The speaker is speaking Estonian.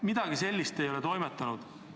Midagi sellist ei ole toimunud.